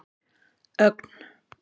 Ögn